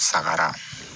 Sagara